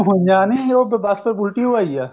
ਅਨਜਾਨੇ ਉਹ ਬਸ ਉਲਟੀ ਓ ਆਈ ਐ